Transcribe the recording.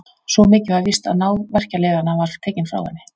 Svo mikið var víst að náð verkjalyfjanna var tekin frá henni.